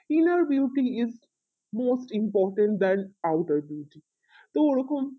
inner beauty is not important then either beauty ওই ঐরকম